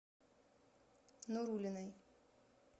нуруллиной